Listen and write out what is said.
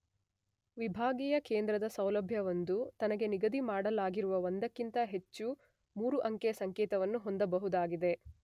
ವಿಭಾಗೀಯ ಕೇಂದ್ರದ ಸೌಲಭ್ಯವೊಂದು ತನಗೆ ನಿಗದಿಮಾಡಲಾಗಿರುವ ಒಂದಕ್ಕಿಂತ ಹೆಚ್ಚು ಮೂರು, ಅಂಕೆಯ ಸಂಕೇತವನ್ನು ಹೊಂದಬಹುದಾಗಿದೆ.